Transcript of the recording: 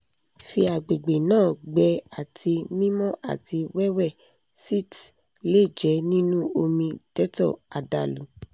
fi agbegbe naa gbẹ ati mimọ ati wẹwẹ sitz le jẹ ninu omi dettol adalu